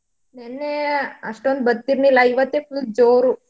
ನೆನ್ನೆ ಅಷ್ಟೋಂದ್ ಬತ್ತಿರ್ಲಿಲ್ಲ ಇವತ್ತೇ full ಜೋರು.